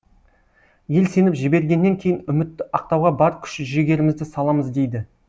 ел сеніп жібергеннен кейін үмітті ақтауға бар күш жігерімізді саламыз дейді